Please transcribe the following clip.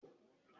Béèni, n̄ kò lóyún